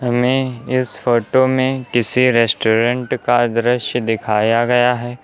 हमें इस फोटो में किसी रेस्टोरेंट का दृश्य दिखाया गया है।